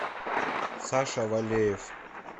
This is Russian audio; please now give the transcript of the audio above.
саша валеев